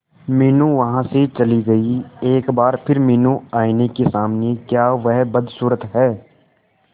मीनू वहां से चली गई एक बार फिर मीनू आईने के सामने क्या वह बदसूरत है